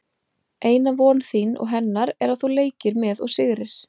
Eina von þín og hennar er að þú leikir með og sigrir.